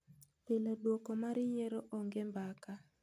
Pile duoko mar yiero onge mbaka.